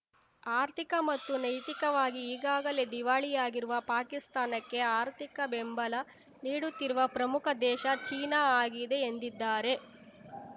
ಆರ್ಥಿಕ ಮತ್ತು ನೈತಿಕವಾಗಿ ಈಗಾಗಲೇ ದಿವಾಳಿಯಾಗಿರುವ ಪಾಕಿಸ್ತಾನಕ್ಕೆ ಆರ್ಥಿಕ ಬೆಂಬಲ ನೀಡುತ್ತಿರುವ ಪ್ರಮುಖ ದೇಶ ಚೀನಾ ಆಗಿದೆ ಎಂದಿದ್ದಾರೆ